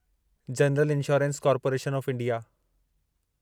general insurance corporation of India